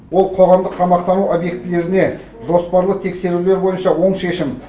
ол қоғамдық тамақтану объектілеріне жоспарлы тексерулер бойынша оң шешім